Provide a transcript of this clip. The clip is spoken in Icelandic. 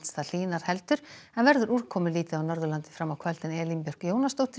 það hlýnar heldur en verður úrkomulítið á Norðurlandi fram á kvöld Elín Björk Jónasdóttir